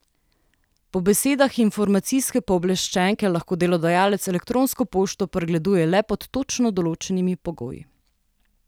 Po besedah informacijske pooblaščenke lahko delodajalec elektronsko pošto pregleduje le pod točno določenimi pogoji.